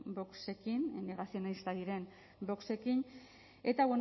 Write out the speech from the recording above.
voxekin negazionistak diren voxekin eta